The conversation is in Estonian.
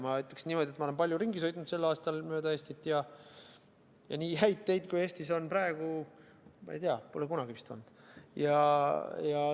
Ma ütleksin niimoodi, et ma olen palju ringi sõitnud sel aastal mööda Eestit ja nii häid teid kui Eestis on praegu, ma ei tea, pole kunagi vist olnud.